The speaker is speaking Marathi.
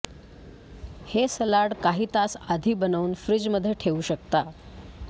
हे सलाड काही तास आधी बनवून फ्रिजमध्ये ठेवू शकता